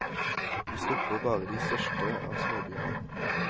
Vi stopper bare i de største av småbyene.